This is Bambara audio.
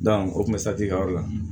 o kun bɛ kɛ yɔrɔ la